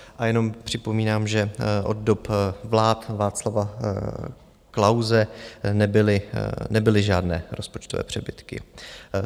A jenom připomínám, že od dob vlád Václava Klause nebyly žádné rozpočtové přebytky.